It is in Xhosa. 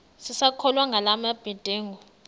sisakholwa ngala mabedengu